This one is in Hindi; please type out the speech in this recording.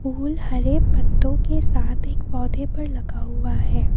फूल हरे पत्तों के साथ एक पौधे पर लगा हुआ है।